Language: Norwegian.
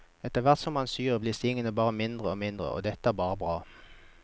Etterhvert som man syr, blir stingene gjerne mindre og mindre, og det er bare bra.